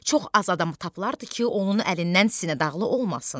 Çox az adam tapılardı ki, onun əlindən sinədağlı olmasın.